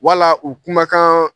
Wala u kumakaan